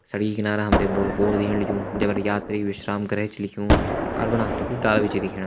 सड़की किनारा हम त बड़ू बोर्ड दिखेण लग्युं जै पर यात्री विश्राम गृह छ लिख्युं। पार फणा हम त कुछ डाला भी दिखेण।